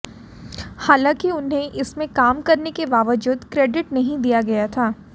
हालांकि उन्हें इसमें काम करने के बावजूद क्रेडिट नहीं दिया गया था